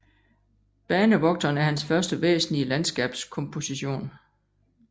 Banevogteren er hans første væsentlige landskabskomposition